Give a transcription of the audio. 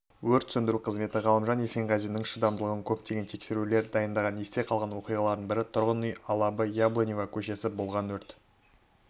өрт сөндіру қызметі ғалымжан есенғазиннің шыдамдылығына көптеген тексерулер дайындаған есте қалған оқиғалардың бірі тұрғын үй алабы яблоневая көшесінде болған өртті